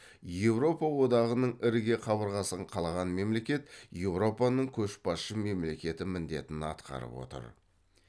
еуропа одағының ірге қабырғасын қалаған мемлекет еуропаның көшбасшы мемлекеті міндетін атқарып отыр